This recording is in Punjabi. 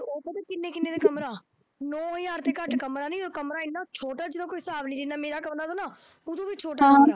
ਉਹ ਪਤਾ ਕਿੰਨੇ ਕਿੰਨੇ ਦਾ ਕਮਰਾ, ਨੌ ਹਜ਼ਾਰ ਦੇ ਘੱਟ ਕਮਰਾ ਨਹੀਂ, ਉਹ ਕਮਰਾ ਐਨਾ ਛੋਟਾ ਜਿਹਦਾ ਕੋਈ ਹਿਸਾਬ ਨਹੀਂ, ਜਿੰਨਾ ਮੇਰਾ ਕਮਰਾ ਨਾ, ਉਹ ਤੋਂ ਵੀ ਛੋਟਾ ਕਮਰਾ